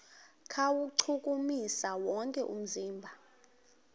kuwuchukumisa wonke umzimba